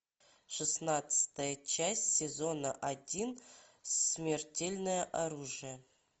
шестнадцатая часть сезона один смертельное оружие